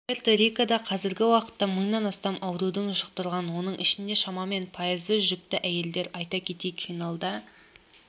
пуэрто-рикода қазіргі уақытта мыңнан астам ауруды жұқтырған оның ішінде шамамен пайызы жүкті әйелдер айта кетейік финалда